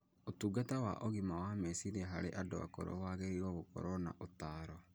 Ũtungata wa ũgima wa meciria harĩ andũ akũrũ wagĩrĩirũo gũkorũo na ũtaaro